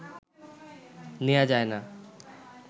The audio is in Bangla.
নেয়া যায় না